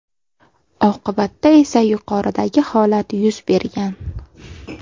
Oqibatda esa yuqoridagi holat yuz bergan.